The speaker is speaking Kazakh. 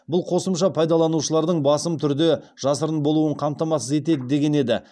бұл қосымша пайдаланушылардың басым түрде жасырын болуын қамтамасыз етеді деген еді